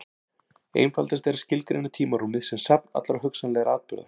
Einfaldast er að skilgreina tímarúmið sem safn allra hugsanlegra atburða.